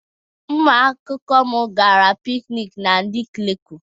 Ụmụakwụkwọ m gara piknik na Nike Leku.